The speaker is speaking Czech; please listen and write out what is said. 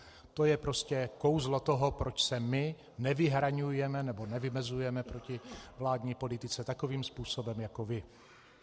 To je prostě kouzlo toho, proč se my nevyhraňujeme nebo nevymezujeme proti vládní politice takovým způsobem jako vy.